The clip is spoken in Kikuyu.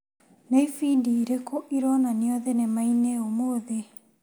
Nĩ ĩbindi irĩkũ ironanio thinema-inĩ ũmũthĩ ?